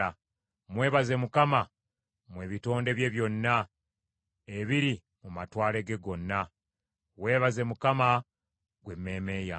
Mwebaze Mukama , mmwe ebitonde bye byonna ebiri mu matwale ge gonna. Weebaze Mukama , ggwe emmeeme yange.